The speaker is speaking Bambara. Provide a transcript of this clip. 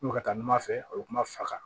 N'u ka taa numan fɛ o bɛ kuma faga